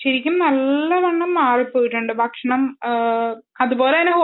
ശരിക്കും നല്ലവണ്ണം മാറിപോയിട്ടുണ്ടു ഭക്ഷണം അതുപോലെ തന്നെ